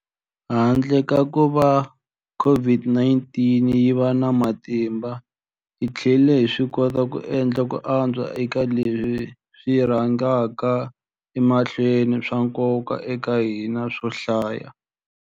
Handle ka kuva COVID-19 yi va na matimba, hi tlhele hi swi kota ku endla ku antswa eka leswi swi rhangaka emahlweni swa nkoka eka hina swo hlaya.